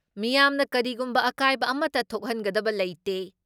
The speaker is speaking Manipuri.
ꯃꯤꯌꯥꯝꯅ ꯀꯔꯤꯒꯨꯝꯕ ꯑꯀꯥꯏꯕ ꯑꯃꯠꯇ ꯊꯣꯛꯍꯟꯒꯗꯕ ꯂꯩꯇꯦ